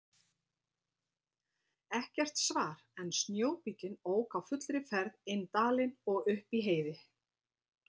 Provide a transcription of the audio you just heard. Ekkert svar en snjóbíllinn ók á fullri ferð inn dalinn og upp í Heiði.